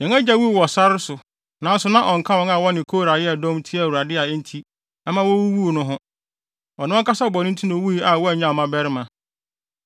“Yɛn agya wuu wɔ sare so nanso na ɔnka wɔn a wɔne Kora yɛɛ dɔm tiaa Awurade a enti ɛma wowuwuu no ho. Ɔno ankasa bɔne nti na owui a wannyaw mmabarima.